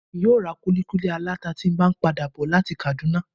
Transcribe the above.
Emi yóò ra kuli kuli alata tí n ba pada bọ lati Kaduna